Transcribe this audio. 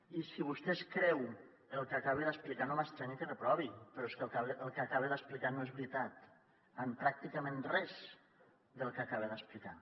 i si vostè es creu el que acabo d’explicar no m’estranya que reprovi però és que el que acaba d’explicar no és veritat pràcticament res del que acaba d’explicar